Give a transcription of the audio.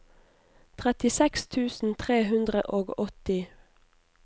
trettiseks tusen tre hundre og åtti